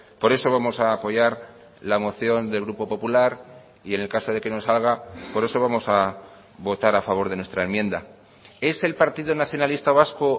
por eso vamos a apoyar la moción del grupo popular y en el caso de que no salga por eso vamos a votar a favor de nuestra enmienda es el partido nacionalista vasco